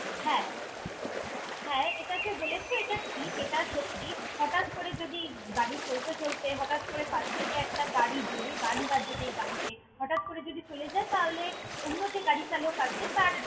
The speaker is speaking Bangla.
হ্যাঁ হ্যাঁ, এটা যে বলেছ এটা ঠিক, এটা সত্যি, হটাৎ করে যদি গাড়ি চলতে চলতে হটাৎ করে পাশ থেকে একটা গাড়ি জোরে গান বাজাতে গাড়িতে হটাৎ করে যদি চলে যায় তাহলে, অন্য যে গাড়ি চালক আছে তার।